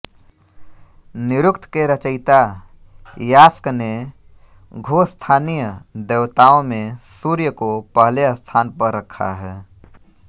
निरुक्त के रचियता यास्क ने द्युस्थानीय देवताओं में सूर्य को पहले स्थान पर रखा है